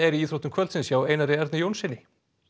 í íþróttum kvöldsins hjá Einari Erni Jónssyni